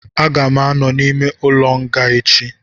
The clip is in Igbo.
Aga m anọ n'ime ụlọ nga echi